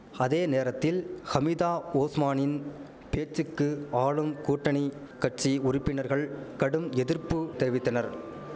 அதேநேரத்தில் ஹமிதா ஓஸ்மானின் பேச்சுக்கு ஆளும் கூட்டணி கட்சி உறுப்பினர்கள் கடும் எதிர்ப்பு தெரிவித்தனர்